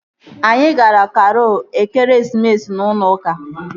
Anyị gara karol ekeresimesi n'ụlọ ụka